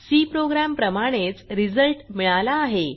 C program प्रमाणेच result मिळाला आहे